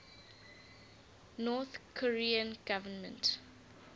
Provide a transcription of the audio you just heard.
north korean government